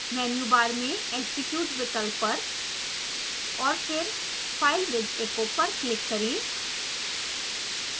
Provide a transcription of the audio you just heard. menu bar में execute विकल्प पर और फिर file with echo पर क्लिक करें